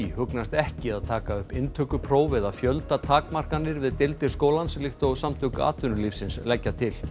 hugnast ekki að taka upp inntökupróf eða fjöldatakmarkanir við deildir skólans líkt og Samtök atvinnulífsins leggja til